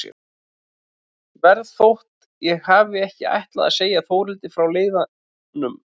Verð þótt ég hafi ekki ætlað að segja Þórhildi frá leiðanum.